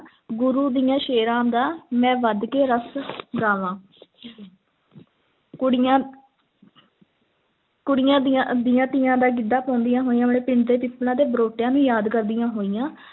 ਗੁਰੂ ਦਿਆਂ ਸ਼ੇਰਾਂ ਦਾ, ਮੈਂ ਵਧ ਕੇ ਰਸ਼ ਗਾਵਾਂ ਕੁੜੀਆਂ ਕੁੜੀਆਂ ਦੀਆਂ ਦੀਆਂ ਤੀਆਂ ਦਾ ਗਿੱਧਾ ਪਾਉਂਦੀਆਂ ਹੋਈਆਂ ਆਪਣੇ ਪਿੰਡ ਦੇ ਪਿੱਪਲਾਂ ਤੇ ਬਰੋਟਿਆਂ ਨੂੰ ਯਾਦ ਕਰਦੀਆਂ ਹੋਈਆਂ